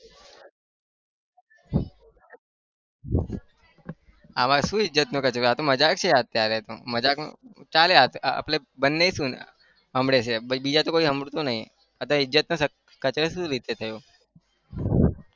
આમાં શું ઈજ્જતનું કચરું આ તો મજાક છે અત્યારે તો મજાકમાં ચાલે આપણે બંને સાંભળે છે બીજા તો કોઈ સાંભળતું નહિ આ તો ઈજ્જતનો કચરો શું રીતે થયો?